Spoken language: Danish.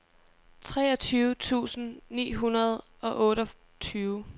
treogtyve tusind ni hundrede og otteogtyve